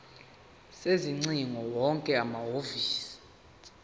sezingcingo wonke amahhovisi